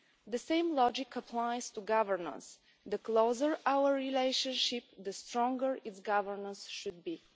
The same logic applies to governance the closer our relationship, the stronger its governance should be.